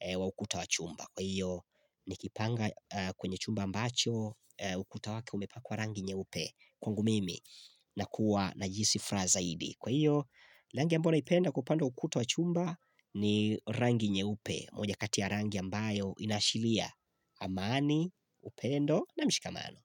wa eh ukuta wa chumba. Kwa hiyo, nikipanga kwenye chumba ambacho, eh ukuta wake umepakwa rangi nyeupe kwangu mimi na kuwa najihisi furaha zaidi. Kwa hiyo, rangi ambayo naipenda kwa upande wa ukuta wa chumba ni rangi nyeupe, moja katia rangi ambayo inashilia amani, upendo na mshikamano.